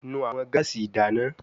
Nu awọn gaasi idana